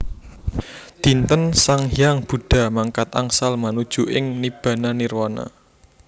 Dinten sang hyang Buddha mangkat angsal manuju ing Nibbana Nirwana